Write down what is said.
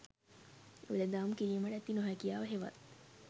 වෙලදාම් කිරීමට ඇති නොහැකියාව හෙවත්